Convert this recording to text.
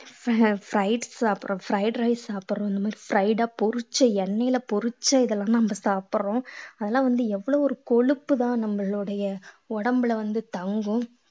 அஹ் fried சாப்பிடுறோம் fried rice சாப்பிடுறோம் இந்த மாதிரி fried ஆ பொரிச்ச எண்ணெயில பொரிச்ச இதெல்லாம் நம்ம சாப்பிடுறோம் அதெல்லாம் வந்து எவ்வளவு ஒரு கொழுப்புதான் நம்மளுடைய உடம்புல வந்து தங்கும்